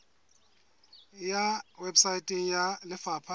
e ya weposaeteng ya lefapha